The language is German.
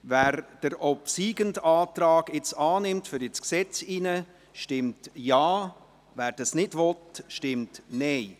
Wer nun den obsiegenden Antrag annimmt, der ins Gesetz kommt, stimmt Ja, wer dies ablehnt, stimmt Nein.